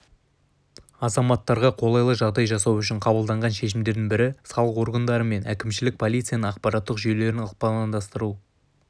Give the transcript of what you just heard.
азаматтарға қолайлы жағдай жасау үшін қабылданған шешімдердің бірі салық органдары мен әкімшілік полицияның ақпараттық жүйелерін ықпалдастырылуы